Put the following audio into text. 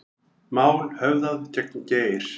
Mál höfðað gegn Geir